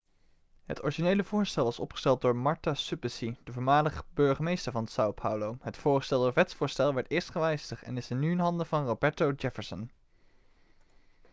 het originele voorstel was opgesteld door marta suplicy de voormalig burgemeester van são paulo. het voorgestelde wetsvoorstel werd eerst gewijzigd en is nu in handen van roberto jefferson